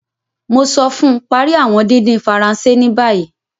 Mo sọ fún, Parí awọn dídín Faransé ní bàyìí